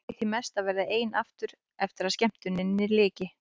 Ég kveið því mest að verða ein aftur eftir að skemmtuninni lyki.